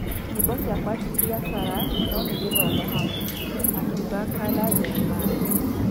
Nyimbo ciakwa ti biacara no nĩ gĩthomo hamwe’’ akiuga Kala Jeremiah